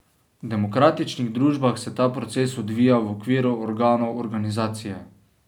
V demokratičnih družbah se ta proces odvija v okviru organov organizacije.